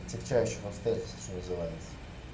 отягчающих обстоятельств что называется